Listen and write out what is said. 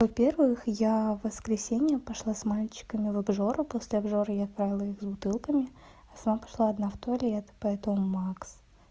во-первых я в воскресенье пошла с мальчиками в обжору после обжоры и отправила их с бутылками а сама пошла одна в туалет поэтому макс